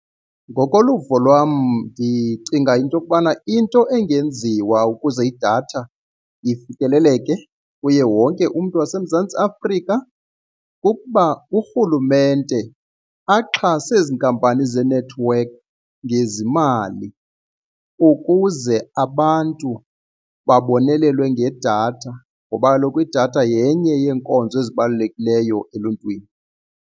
Ngokoluvo lwam ndicinga into yokubana into engenziwa ukuze idatha ifikeleleke kuye wonke umntu waseMzantsi Afrika kukuba urhulumente axhase ezi nkampani zeenethiwekhi ngezimali ukuze abantu babonelelwe ngedatha ngoba kaloku idatha yenye yeenkonzo ezibalulekileyo eluntwini.